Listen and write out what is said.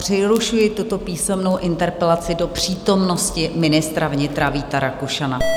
Přerušuji tuto písemnou interpelaci do přítomnosti ministra vnitra Víta Rakušana.